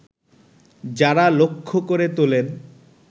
যাঁরা লক্ষ্য করে তোলেন